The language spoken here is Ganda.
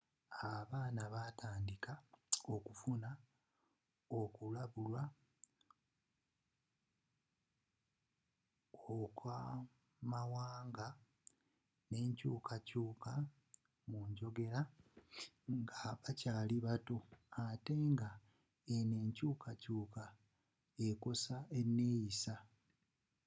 abaana batandika okufuna okulabulwa okw'amawanga n'enkyuuka kyuka mu njogera nga bakyali bato ate nga eno enkyukakyuka ekosa eneyissa